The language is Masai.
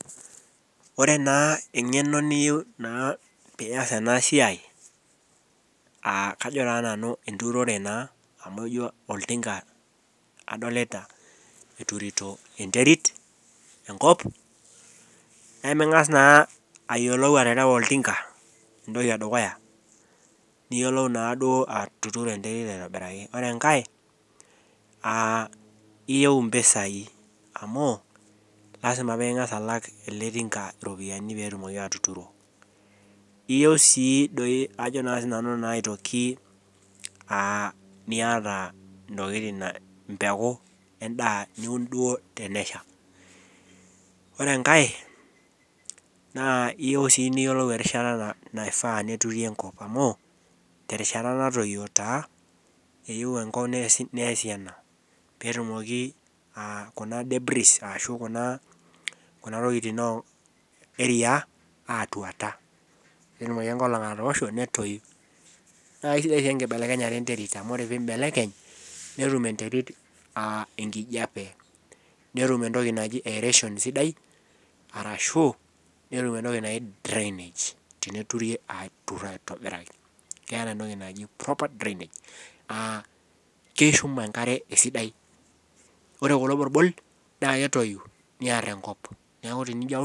Ore naa eng'eno niyieu naa piiyas ena siai aa kajo taa nanu enturore naa amu ijio oltinka adolita eturito enterit enkop neming'as naa ayiolou aterewa oltinka entoki edukuya niyiolou naaduo atuturo enterit aitobiraki ore enkae uh iyieu impisai amu lasima peing'as alak ele tinka iropiani petumoki atuturo iyieu sii doi ajo naa sinanu naa aitoki uh niata intokitin empeku endaa niun duo tenesha ore enkae naa iyieu sii niyiolou erishata na naifaa neturi enkop amu terishata natoyio taa eyieu enkop neesi ena peetumoki uh kuna debris ashu kuna, kuna tokiting oh eria atuata petumoki enkolong atoosho netoi naa aisidai enkibelekenyata enterit amu ore pimbelekeny netum enterit uh enkijape netum entoki naji aeration sidai arashu netum entoki naji drainage teneturi aturr aitobiraki keeta entoki naji proper drainage uh keishum enkare esidai ore kulo borbol naa ketoyu niarr enkop niaku tenijio aun.